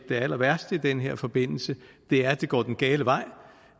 det allerværste i den her forbindelse er at det går den gale vej